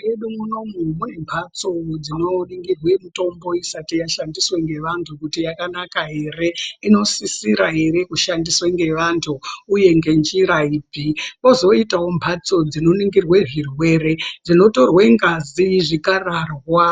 Mwedu munomu mune mhatso dzinoningirwe mitombo isati yashandiswa ngevantu kuti yakanaka ere, inosisira ere kushandiswa ere ngevantu uye ngenjira ipi. Kwozoitawo mhatso dzinoningirwe zvirwere dzinotorwe ngazi, zvikararwa